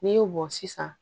N'i y'o bɔn sisan